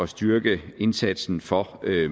styrke indsatsen for